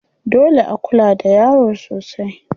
Dole a kula da yaro sosai.